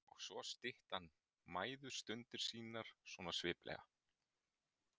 Og svo stytti hann mæðustundir sínar svona sviplega.